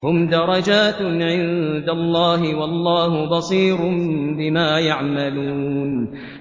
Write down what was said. هُمْ دَرَجَاتٌ عِندَ اللَّهِ ۗ وَاللَّهُ بَصِيرٌ بِمَا يَعْمَلُونَ